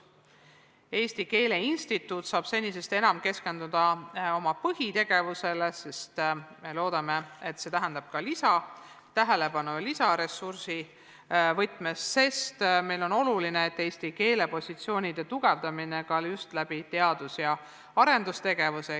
Eesti Keele Instituut saab senisest enam keskenduda oma põhitegevusele, sest loodame, et see tähendab ka lisatähelepanu lisaressursi võtmes, sest meile on oluline eesti keele positsioonide tugevdamine eelkõige teadus- ja arendustegevuse kaudu.